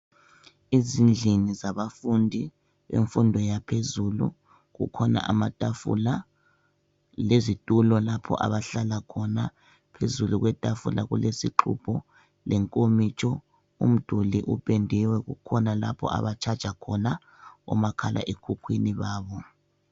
Ezindlini zabafundi bemfundo yaphezulu kukhona amatafula lezitulo lapho abahlala khona. Phezulu kwetafula kulesixubho lenkomitsho, umduli upendiwe. Kukhona lapho abatshaja khona omakhalekhukhwini babo.